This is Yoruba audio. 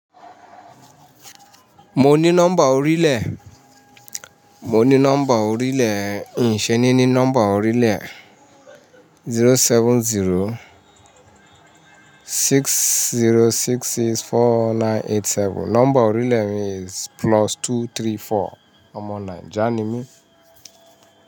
Mo ní nọ́mbà orílè, mo ní nọ́mbà orílè, n ṣé ní ní nọ́mbà orílè. Zero seven zero six zero six six four nine eight seven. Nọ́mbà orílè mi is plus two three four. Ọmọ Naija ni mí.